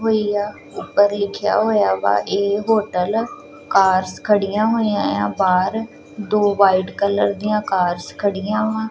ਹੋਈ ਆ ਉੱਪਰ ਲਿੱਖਿਆ ਹੋਇਆ ਵਾ ਇਹ ਹੋਟਲ ਕਾਰਸ ਖੜੀਆਂ ਹੋਈਆਂ ਏ ਆ ਬਾਹਰ ਦੋ ਵਾਈਟ ਕਲਰ ਦੀਆਂ ਕਾਰਸ ਖੜੀਆਂ ਵਾ।